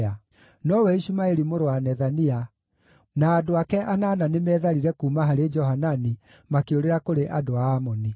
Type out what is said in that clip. Nowe Ishumaeli mũrũ wa Nethania na andũ ake anana nĩmetharire kuuma harĩ Johanani, makĩũrĩra kũrĩ andũ a Amoni.